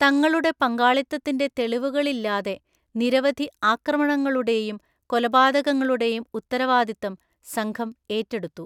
തങ്ങളുടെ പങ്കാളിത്തത്തിന്റെ തെളിവുകളില്ലാതെ നിരവധി ആക്രമണങ്ങളുടെയും കൊലപാതകങ്ങളുടെയും ഉത്തരവാദിത്തം സംഘം ഏറ്റെടുത്തു.